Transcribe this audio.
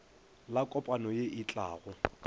la kopano ye e tlago